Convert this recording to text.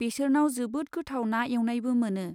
बेसोरनाव जोबोद गोथाव ना एवनायबो मोनो।